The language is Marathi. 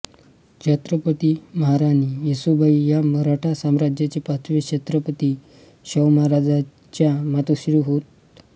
छत्रपती महाराणी येसूबाई या मराठा साम्राज्याचे पाचवे छत्रपती शाहू महाराजांच्या मातोश्री होत